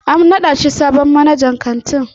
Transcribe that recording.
An naɗa shi sabon manajan kantin.